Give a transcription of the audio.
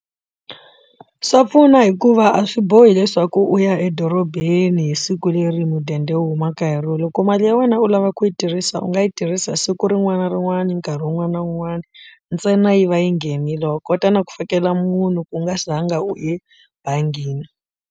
Swa pfuna hikuva a swi bohi leswaku u ya edorobeni hi siku leri hi mudende u humaka hi rona loko mali ya wena u lava ku yi tirhisa u nga yi tirhisa siku rin'wana na rin'wana nkarhi wun'wana na wun'wana ntsena yi va yi nghenile wa kota na ku fikela munhu ku nga zanga u e bangini.